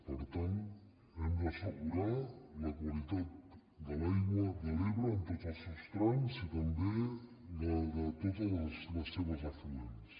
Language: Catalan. per tant hem d’assegurar la qualitat de l’aigua de l’ebre en tots els seus trams i també la de tots els seus afluents